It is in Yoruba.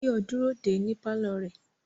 Báyọ̀ dúró dè ẹ́ ní pálọ̀ rẹ̀